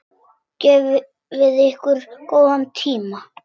Gefið ykkur góðan tíma.